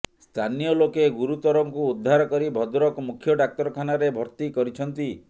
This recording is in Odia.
ସ୍ଥାନୀୟ ଲୋକେ ଗୁରୁତରଙ୍କୁ ଉଦ୍ଧାର କରି ଭଦ୍ରକ ମୁଖ୍ୟ ଡାକ୍ତରଖାନାରେ ଭର୍ତ୍ତି କରିଛନ୍ତି